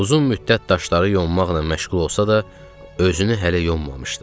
Uzun müddət daşları yonmaqla məşğul olsa da, özünü hələ yonmamışdı.